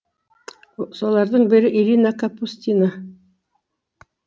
солардың бірі ирина капустина